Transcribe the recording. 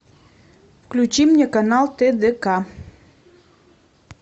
включи мне канал тдк